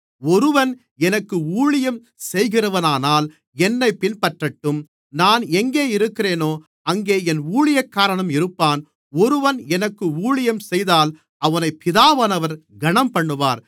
ஒருவன் எனக்கு ஊழியம் செய்கிறவனானால் என்னைப் பின்பற்றட்டும் நான் எங்கே இருக்கிறேனோ அங்கே என் ஊழியக்காரனும் இருப்பான் ஒருவன் எனக்கு ஊழியம் செய்தால் அவனைப் பிதாவானவர் கனம்பண்ணுவார்